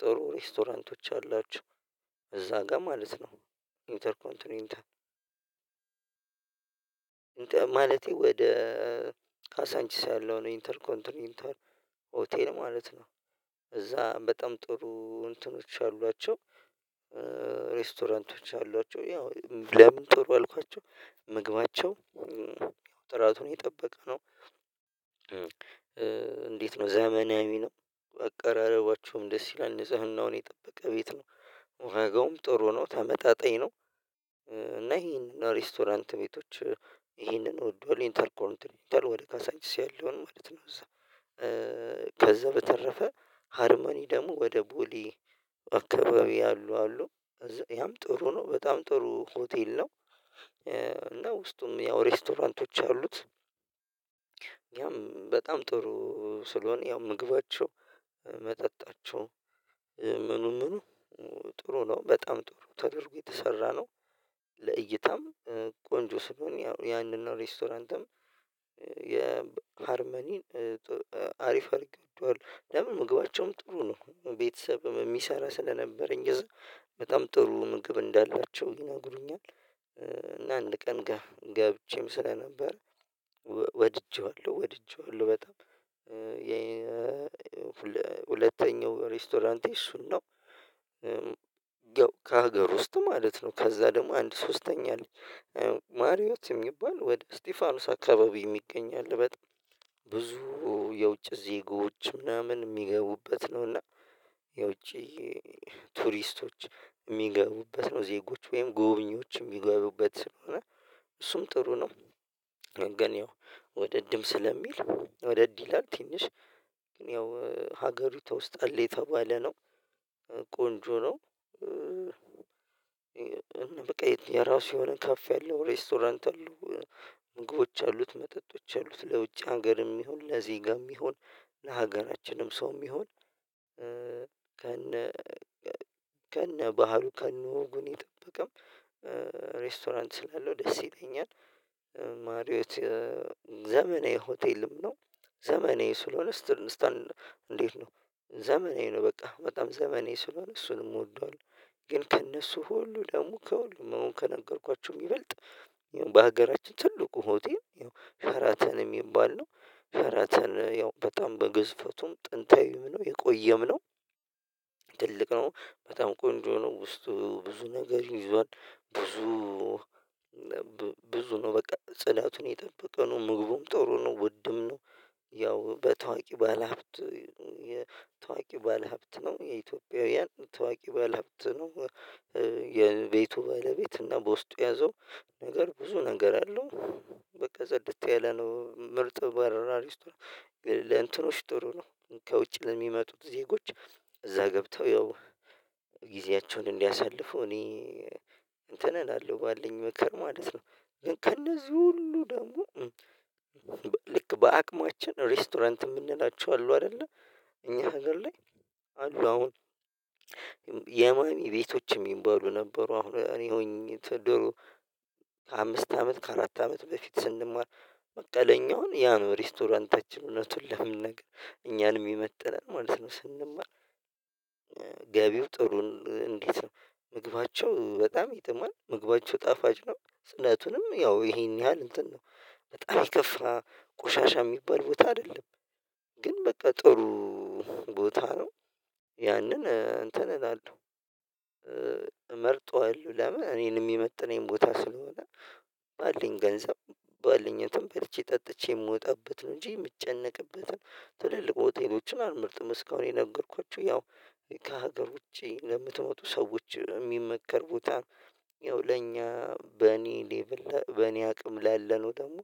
ጥሩ ሬስቶራንቶች አላቸው እዛ ጋር ማለት ነው። ኢንተርኮንት ነው ኢንተር ማለቴ ወደ ካሳንችስ ያለው ኢንተር ኮንቲኒተር ኦቴን ማለት ነው። እዛ በጣም ጥሩ እንትኖች አሏቸው ሬስቶራንቶች አሏቸው ያው ለምን ጥሩ አልኳቸው ምግባቸው ጥራቱን የጠበቀ ነው። እንዴት ነው ዘመናዊ ነው አቀራረባቸውም ደስ ይላል ንጽህናውን የጠበቀ ቤት ነው ዋጋውም ጥሩ ነው ተመጣጣኝ ነው። እና ይሄንን ሬስቶራንት ቤቶች ይሄንን እወደዋለሁ ኢንተርኮርን ይሄንን ወደ ካሳንች ያለውን ማለት ነው እዛ። ከዛ በተረፈ ሃርማኒ ደግሞ ወደ ቦሊ አካባቢ አሉ አሉ ያም ጥሩ ነው በጣም ጥሩ ሆቴል ነው። እና ውስጡም ያው ሬስቶራንቶች አሉት ያም በጣም ጥሩ ስለሆነ ያው ምግባቸው መጠጣቸው ምኑ ምኑ ጥሩ ነው በጣም ጥሩ ተደርጎ የተሰራ ነው። ለእይታም ቆንጆ ስለሆነ ያንን እና ሬስቶራንትም የሃርመኒን አሪፍ አድርታዷል ለምን ምግባቸውም ጥሩ ነው ቤተሰብ የሚሰራ ስለነበረኝ እዛ በጣም ጥሩ ምግብ እንዳላቸው ይናግሩኛል። እና አንድ ቀን ጋር ስለነበር ወድጄዋለሁ ወድጄዋለሁ በጣም። ሁለተኛው ሬስቶራንቴ እሱን ነው። ያው ከሀገር ውስጥ ማለት ነው ከዛ ደግሞ አንድ ሶስተኛ አለች ማርዮስ የሚባል ወደ እስጢፋኖስ አካባቢ የሚገኝ አለ በጣም ብዙ የውጭ ዜጎች ምናምን የሚገቡበት ነው። እና የውጪ ቱሪስቶች የሚገቡበት ነው ዜጎች ወይም ጎብኚዎች የሚገቡበት ስለሆነ እሱም ጥሩ ነው። ግን ወደ ድም ስለሚል ወደ ድ ይላል ትንሽ ያው ሀገሪቱ ውስጥ አለ የተባለ ነው ቆንጆ ነው። በቃ የራሱ የሆነ ከፍ ያለው ሬስቶራንት አሉ ምግቦች አሉት መጠጦች አሉት ለውጭ ሀገርም ይሁን ለዜጋም ይሁን ለሀገራችንም ሰውም ይሁን ከነ ከነ ባህሩ ከነ ወጉን የጠበቀም ሬስቶራንት ስላለው ደስ ይለኛል። ማርዮት ዘመናዊ ሆቴልም ነው ዘመናዊ ስለሆነ ስትል እንዴት ነው ዘመኔ ነው በቃ በጣም ዘመኔ ስለሆነ እሱንም እወደዋለሁ። ግን ከእነሱ ሁሉ ደግሞ ከሁሉ መሆን ከነገርኳቸውም ይበልጥ በሀገራችን ትልቁ ሆቴል ሸራተን የሚባል ነው። ሸራተን ያው በጣም በግዝፈቱም ጥንታዊው ነው የቆየም ነው። ትልቅ ነው በጣም ቆንጆ ነው ውስጡ ብዙ ነገር ይዟል ብዙ ብዙ ነው በቃ ጽናቱን የጠበቀ ነው ምግቡም ጥሩ ነው ውድም ነው። ያው በታዋቂ ባለሀብት የታዋቂ ባለሀብት ነው የኢትዮጵያውያን ታዋቂ ባለሀብት ነው። የቤቱ ባለቤት እና በውስጡ ያዘው ነገር ብዙ ነገር አለው በቃ ዘዴ ያለ ነው ምርጥ በረራ ሪስትሮች ለእንትኖች ጥሩ ነው። ከውጭ ለሚመጡት ዜጎች እዛ ገብተው ያው ጊዜያቸውን እንዲያሳልፉ እኔ እንትን እላለሁ ባልኝ ምክር ማለት ነው። ግን ከእነዚህ ሁሉ ደግሞ ልክ በአቅማችን ሬስቶራንት የምንላቸው አሉ አይደለ። እኛ ሀገር ላይ አሉ አሁን የማሚ ቤቶችም ይባሉ ነበሩ አሁን እኔ ሆኜ ድሮ ከአምስት አመት ከአራት አመት በፊት ስንማር መቀለኛውን ያ ነው ሬስቶራንታችን እውነቱን ለመነገር እኛን የሚመጥነን ማለት ነው። ስንማር ገቢው ጥሩን እንዴት ነው ምግባቸው በጣም የጥማል ምግባቸው ጣፋጭ ነው ጽነቱንም ያው ይሄን ያህል እንትን ነው በጣም የከፋ ቆሻሻ የሚባል ቦታ አይደለም። ግን በቃ ጥሩ ቦታ ነው። ያንን እንትን እላለሁ መርጧል ለምን እኔን የሚመጥነኝ ቦታ ስለሆነ ባልኝ ገንዘብ ባልኝ ተንበልቼ ጠጥቼ የምወጣበት ነው እንጂ የምጨነቅበትን ትልልቅ ሆቴሎችን አልምርጥም። እስካሁን የነገርኳችሁ ያው ከሀገር ውጪ ለምትመጡ ሰዎች የሚመከር ቦታ ያው ለእኛ በእኔ ሌቭል በእኔ አቅም ላለነው ደግሞ